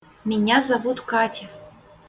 меня зовут катя